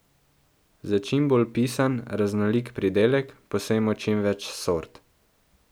Za čim bolj pisan, raznolik pridelek posejmo čim več sort.